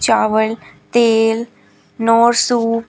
चावल तेल Knorr soup --